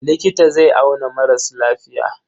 Likita zai auna maras lafiya.